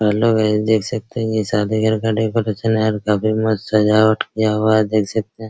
और लोग है देख सकते हैं ये शादी घर का डेकोरेशन है काफी मस्त सजावट किया हुआ है देख सकते हैं।